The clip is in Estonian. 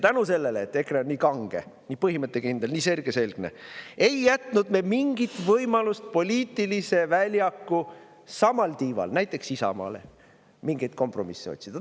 Tänu sellele, et EKRE on nii kange, nii põhimõttekindel, nii sirgeselgne, ei jätnud me mingit võimalust näiteks Isamaale poliitilise väljaku samal tiival mingeid kompromisse otsida.